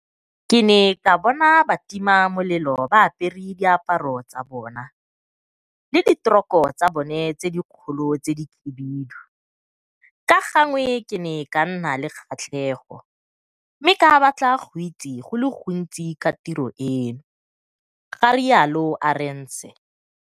Ke ne ka bona batimamelelo ba apere diaparo tsa bona le diteroko tsa bona tse dikgolo tse dikhibidu, ka gangwe ke ne ka nna le kgatlhego mme ka batla go itse go le gontsi ka tiro eno, ga rialo Arendse.